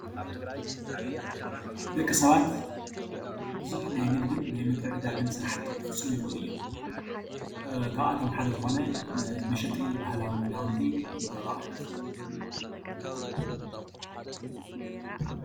ደቂ ሰባት ቡዙሕ ናይ ምግድን ምትዕድዳግን ስራሕቲ ክፍፅሙ ይክእሉ እዮም፡፡ ካብኣቶም ሓደ ዝኮነ መሸጢ ባህላዊ ክዳውንቲ ገ/ዋህድ እዩ፡፡